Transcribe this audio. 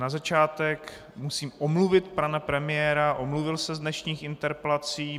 Na začátek musím omluvit pana premiéra, omluvil se z dnešních interpelací.